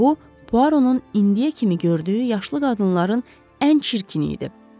Bu, Puaronun indiyə kimi gördüyü yaşlı qadınların ən çirkini idi.